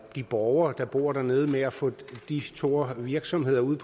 de borgere der bor dernede med at få de store virksomheder ud